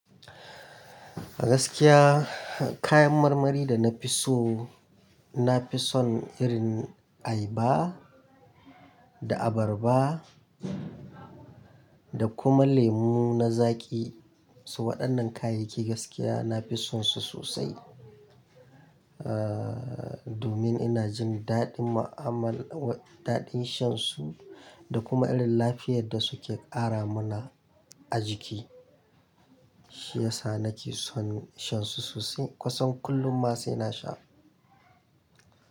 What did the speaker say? Gaskiya kayan marmari da na fi so, na fi son irin ayaba da abarba da kuma lemu na zaƙi. To waɗannan kayayyaki gaskiya na fi son su sosai. Ah, domin ina jin daɗin mu'amala, daɗin shan su da kuma irin lafiyar da suke ƙara mana a jiki. Shiyasa na ke son shan su sosai, kusan kullum ma sai na sha.